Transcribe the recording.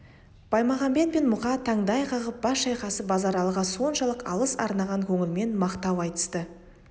баймағамбет пен мұқа таңдай қағып бас шайқасып базаралыға соншалық алғыс арнаған көңілмен мақтау айтысты